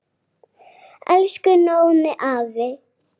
Elsku Nóni afi.